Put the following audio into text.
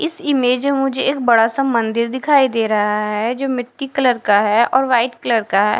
इस इमेज मुझे एक बड़ा सा मंदिर दिखाई दे रहा है जो मिट्टी कलर का है और वाइट कलर का है।